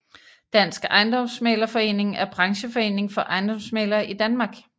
Dansk Ejendomsmæglerforening er brancheforening for ejendomsmæglere i Danmark